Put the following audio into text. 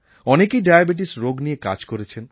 অনেকেই ডায়াবেটিস রোগ নিয়ে কাজ করেছেন